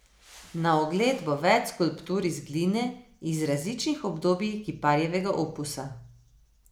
Na ogled bo več skulptur iz gline iz različnih obdobij kiparjevega opusa.